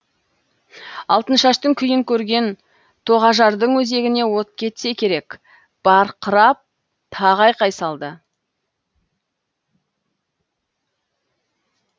алтыншаштың күйін көрген тоғажардың өзегіне от кетсе керек барқырап тағы айқай салды